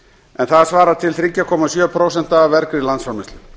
en það svarar til þremur komma sjö prósentum af vergri landsframleiðslu